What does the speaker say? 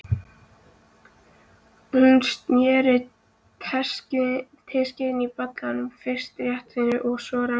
Hún sneri teskeiðinni í bollanum, fyrst réttsælis, síðan rangsælis.